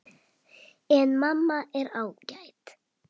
En mamma er ágæt.